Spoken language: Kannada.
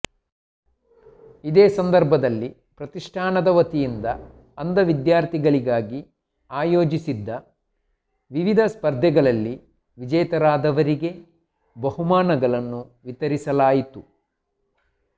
ಇದೇ ಸಂದರ್ಭದಲ್ಲಿ ಪ್ರತಿಷ್ಠಾನದ ವತಿಯಿಂದ ಅಂಧ ವಿದ್ಯಾರ್ಧಿಗಳಿಗಾಗಿ ಆಯೋಜಿಸಿದ್ದ ವಿವಿಧ ಸ್ಪರ್ಧೆಗಳಲ್ಲಿ ವಿಜೇತರಾದವರಿಗೆ ಬಹುಮಾನಗಳನ್ನು ವಿತರಿಸಲಾಯಿತು